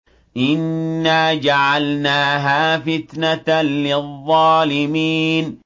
إِنَّا جَعَلْنَاهَا فِتْنَةً لِّلظَّالِمِينَ